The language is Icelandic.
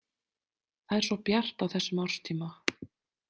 Það er svo bjart á þessum árstíma.